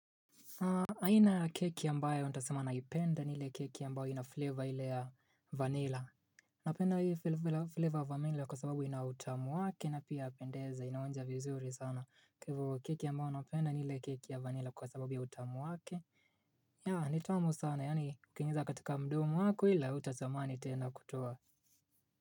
Aina ya keki ambayo nitasema naipenda ni ile keki ambayo inafleva ile ya vanilla Napenda hii flavor ya vanilla kwa sababu inautamu wake na pia yapendeza inaonja vizuri sana kwa hivo keki ambayo napenda ni ile keki ya vanilla kwa sababu ya utamu wake ya nitamu sana yaani ukiingiza katika mdomo wako ila hutatamani tena kutoa.